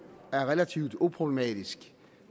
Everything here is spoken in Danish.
er relativt uproblematisk